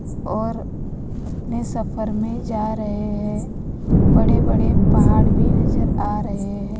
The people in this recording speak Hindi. और अपने सफ़र में जा रहे हैं बड़े बड़े पहाड़ भी नजर आ रहे हैं।